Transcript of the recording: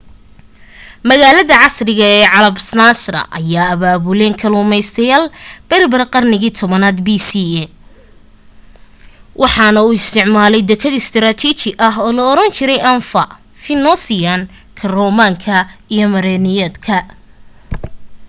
magaalada casriga ee casablanca ayee abaabuleen kalluumeysteyaal berber qarniga 10aaad bce waxaana u isticmaalay dakad istraatiiji ah oo laoran jiray anfa phoenician-ka roman-ka iyo merenid-ka